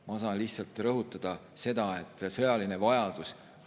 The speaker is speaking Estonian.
Ma saan lihtsalt rõhutada, et võib tekkida sõjaline vajadus.